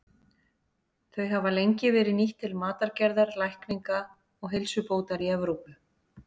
Þau hafa lengi verið nýtt til matargerðar, lækninga og heilsubótar í Evrópu.